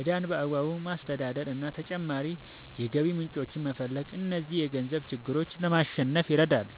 ዕዳን በአግባቡ ማስተዳደር እና ተጨማሪ የገቢ ምንጮችን መፈለግ እነዚህን የገንዘብ ችግሮች ለማሸነፍ ይረዳሉ።